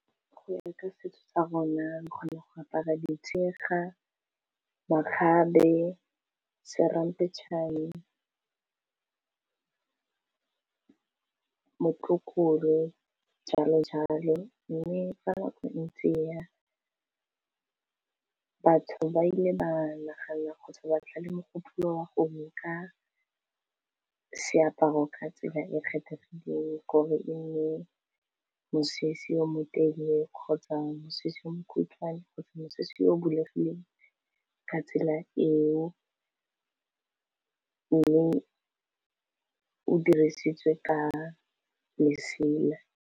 Go ya ka setso sa rona re kgona go apara ditshega, makgabe, seramphechane, motlokolo, jalo jalo mme fa nako e ntse e ya batho ba ile ba nagana kgotsa batla le mogopolo ka seaparo ka tsela e kgethegileng gore e nne mosese yo motelele, kgotsa mosese mokhutshwane, kgotsa mosese o bulegileng, ka tsela eo mme o dirisitswe ka lesela.